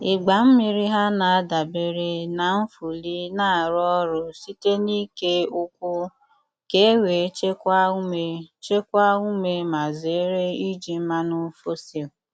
Ịgba mmiri ha na-adabere na nfuli na-arụ ọrụ site n’ike ụkwụ, ka ewee chekwaa ume chekwaa ume ma zere iji mmanụ fosil.